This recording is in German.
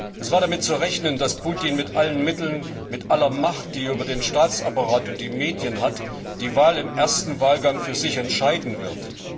Es war damit zu rechnen, dass Putin mit allen Mitteln, mit aller Macht, die er über den Staatsapparat und die Medien hat, die Wahl im ersten Wahlgang für sich entscheiden wird.